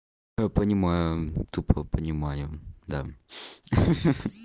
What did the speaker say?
понимаем тупо понимаем да ха-ха